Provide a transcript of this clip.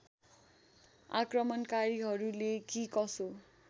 आक्रमणकारीहरूले कि कसो